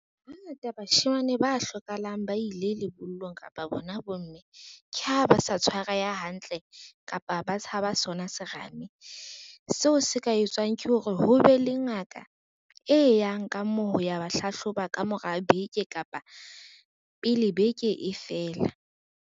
Hangata bashemane ba hlokahalang ba ile lebollong kapa bona bomme, ke ha ba sa tshwareha hantle kapa ba tshaba sona serame. Seo se ka etsuwang ke hore ho be le ngaka e yang ka moo ho ya ba hlahloba ka mora beke kapa pele beke e fela.